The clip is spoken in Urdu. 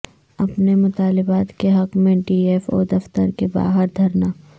اپنے مطالبات کے حق میں ڈی ایف او دفتر کے باہر دھرنا